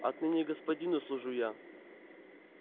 отныне господину служу я